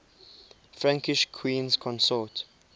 frankish queens consort